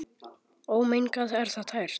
Ómengað er það tært.